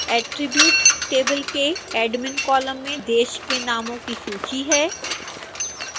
attribute table के admin column में देश के नामों की सूची है